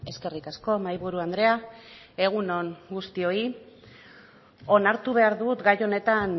eskerrik asko mahaiburu andrea egun on guztioi onartu behar dut gai honetan